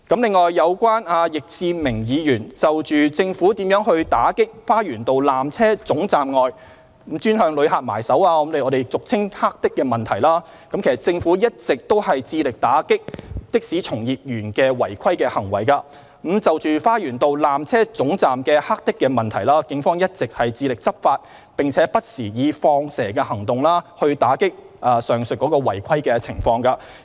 另外，有關易志明議員就政府如何打擊花園道纜車總站外專門向旅客下手、俗稱"黑的"的問題，政府一直致力打擊的士從業員的違規行為；就着花園道纜車總站的"黑的"問題，警方一直致力執法，並不時採取"放蛇"行動，以打擊上述違規情況。